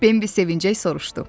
Bembi sevincəklə soruşdu.